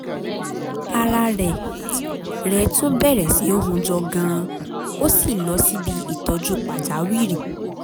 ara rẹ̀ rẹ̀ tún bẹ̀rẹ̀ sí í hunjọ gan-an ó sì lọ síbi ìtọ́jú pàjáwìrì